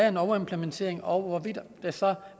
en overimplementering og hvorvidt det så